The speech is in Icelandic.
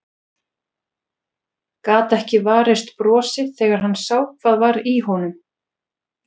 Gat ekki varist brosi þegar hann sá hvað var í honum.